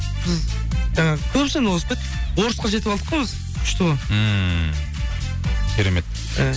біз жаңағы көбісінен озып кеттік орысқа жетіп алдық қой біз күшті ғой ммм керемет і